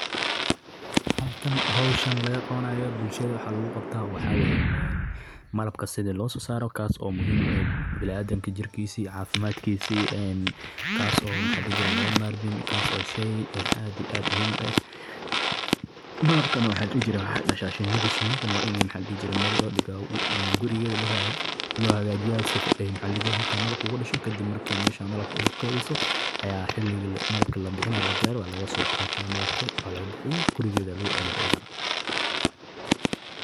Beeralayda malabka waa xirfad muhiim ah oo ka mid ah dhaqancelinta dhaqanka Soomaaliyeed, taasoo ku salaysan daryeelka iyo ilaalinta shinnida si ay u soo saaraan malab tayo sare leh. Malabku waa badeeco dabiici ah oo caafimaad badan leh, waxaana laga helaa nafaqooyin badan oo ka hortaga cudurrada iyo dhibaatooyinka caafimaad. Si guul leh loogu guulaysto beeralayda malabka, waxaa muhiim ah in la fahmo noocyada kala duwan ee shinnida.